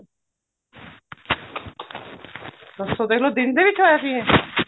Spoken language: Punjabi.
ਦੇਖਲੋ ਦਿਨ ਦੇ ਵਿੱਚ ਹੋਇਆ ਸੀ ਇਹ